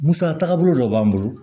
Musa tagabolo dɔ b'an bolo